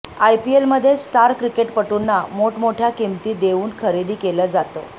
आयपीएलमध्ये स्टार क्रिकेटपटूंना मोठमोठ्या किंमती देऊन खरेदी केलं जातं